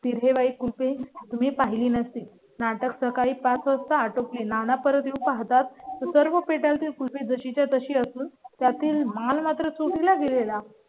तिहेरी कृपया तुम्ही पाहिली नसेल. नाटक सकाळी पाच वाजता टोपे नाना परत येऊ पाहतात. सर्व भेटेल तो खुशी जशीच्या तशी असून त्यातील माल मात्र चोरी ला गेले ला